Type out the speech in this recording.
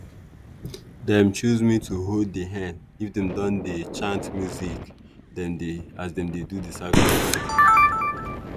dem choose me to hold di hen if them don dey chant music as dem dey do the sacrifice